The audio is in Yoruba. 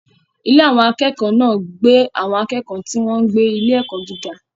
Ilé àwọn akẹ́kọ̀ọ́ náà gbé àwọn akẹ́kọ̀ọ́ tí wọ́n ń gbé ní ilé-ẹ̀kọ́ gíga.